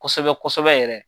Kosɛbɛ kosɛbɛ yɛrɛ.